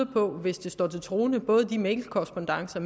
på hvis det står til troende både de mailkorrespondancer